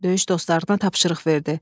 Döyüş dostlarına tapşırıq verdi.